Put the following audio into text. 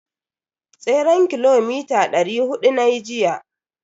Tseren kilomita dari hudu nayi jiya.